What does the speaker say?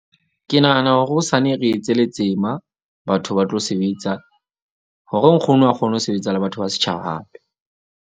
Ke nahana hore hosane re etse letsema. Batho ba tlo sebetsa hore nkgono a kgone ho sebetsa le batho ba setjhaba hape.